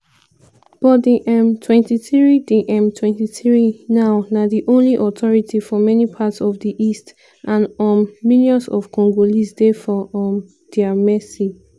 but di m23 di m23 now na di only authority for many parts of di east and um millions of congolese dey for um dia mercy.